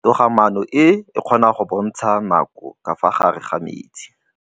Toga-maanô e, e kgona go bontsha nakô ka fa gare ga metsi.